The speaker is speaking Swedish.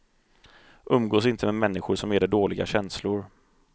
Umgås inte med människor som ger dig dåliga känslor.